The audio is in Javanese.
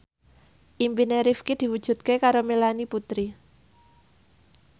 impine Rifqi diwujudke karo Melanie Putri